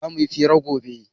Zamu yi fira gobe